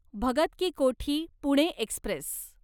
Bhagat ki Kothi Pune Express